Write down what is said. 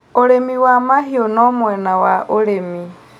ũrĩmi wa mahiũ no mwena wa ũrĩmi